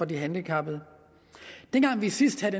de handicappede dengang vi sidst havde